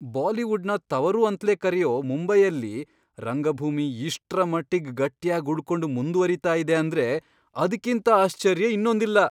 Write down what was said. ಬಾಲಿವುಡ್ನ ತವರು ಅಂತ್ಲೇ ಕರೆಯೋ ಮುಂಬೈಯಲ್ಲಿ ರಂಗಭೂಮಿ ಇಷ್ಟ್ರಮಟ್ಟಿಗ್ ಗಟ್ಯಾಗ್ ಉಳ್ಕೊಂಡು ಮುಂದ್ವರೀತಾ ಇದೆ ಅಂದ್ರೆ ಅದ್ಕಿಂತ ಆಶ್ಚರ್ಯ ಇನ್ನೊಂದಿಲ್ಲ.